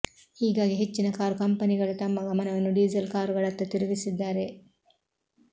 ಹೀಗಾಗಿ ಹೆಚ್ಚಿನ ಕಾರು ಕಂಪನಿಗಳು ತಮ್ಮ ಗಮನವನ್ನು ಡೀಸೆಲ್ ಕಾರುಗಳತ್ತ ತಿರುಗಿಸಿದ್ದಾರೆ